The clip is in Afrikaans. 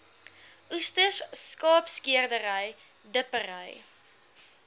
oesters skaapskeerdery dippery